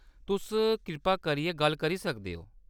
तुस कृपा करियै गल्ल करी सकदे ओ।